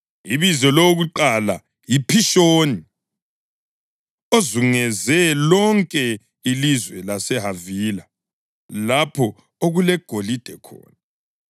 Ibizo lowokuqala yiPhishoni; ozungeze lonke ilizwe laseHavila, lapho okulegolide khona.